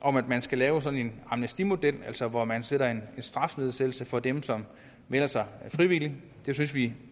om at man skal lave sådan en amnestimodel altså hvor man sætter en strafnedsættelse for dem som melder sig frivilligt det synes vi